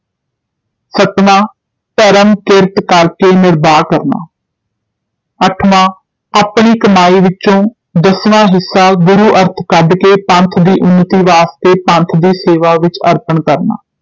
ਸੱਤਵਾਂ ਧਰਮ ਕਿਰਤ ਕਰ ਕੇ ਨਿਰਬਾਹ ਕਰਨਾ ਅੱਠਵਾਂ ਆਪਣੀ ਕਮਾਈ ਵਿਚੋਂ ਦਸਵਾਂ ਹਿੱਸਾ ਗੁਰੂ ਅਰਥ ਕੱਢ ਕੇ ਪੰਥ ਦੀ ਉੱਨਤੀ ਵਾਸਤੇ ਪੰਥ ਦੀ ਸੇਵਾ ਵਿਚ ਅਰਪਨ ਕਰਨਾ